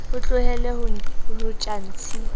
o tlohelle ho tjha ntshi